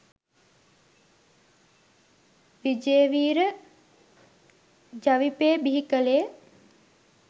විජේවීර ජවිපෙ බිහි කලේ.